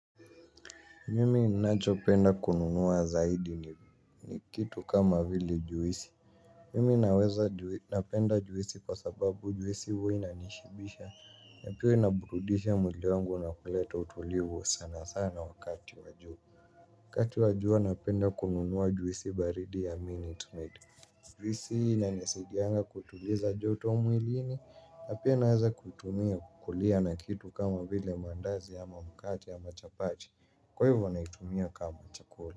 Mimi ninachopenda kununua zaidi ni kitu kama vile juisi. Mimi naweza napenda juisi kwa sababu juisi huwa inanishibisha. Na pia inaburudisha mwili wangu na kuleta utulivu sana sana wakati wa jua. Wakati wa jua napenda kununua juisi baridi ya Minute Maid. Juisina inanisaidia kutuliza joto mwilini. Na pia naweza kuitumia kukulia na kitu kama vile mandazi ama mkate ama chapati. Kwa hivyo na naitumia kama chakula.